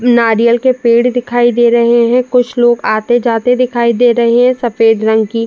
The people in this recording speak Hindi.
नारियल के पेड़ दिखाई दे रहे हैं। कुछ लोग आते-जाते दिखाई दे रहे हैं। सफेद रंग की--